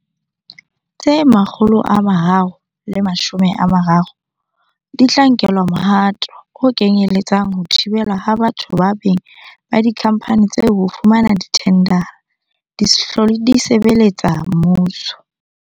Tse 330 di tla nkelwa mohato o kenyele tsang ho thibelwa ha batho kapa beng ba dikhampani tseo ho fumana dithendara, di se hlole di sebeletsa mmuso.